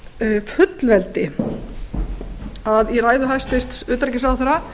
á fullveldi að í ræðu hæstvirts utanríkisráðherra